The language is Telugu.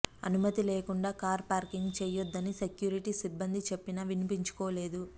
అనుమతి లేకుండా కారు పార్కింగ్ చేయొద్దని సెక్యూరిటీ సిబ్బంది చెప్పినా వినిపించుకోలేదు